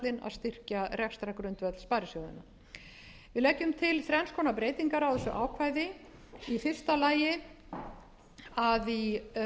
styrkja rekstrargrundvöll sparisjóðanna við leggjum til þrenns konar breytingar á þessu ákvæði í fyrsta lagi að